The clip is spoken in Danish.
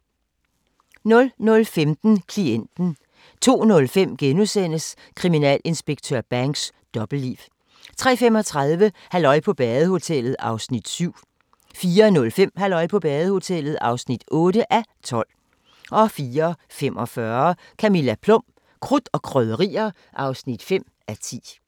00:15: Klienten 02:05: Kriminalinspektør Banks: Dobbeltliv * 03:35: Halløj på badehotellet (7:12) 04:05: Halløj på badehotellet (8:12) 04:45: Camilla Plum - krudt og krydderier (5:10)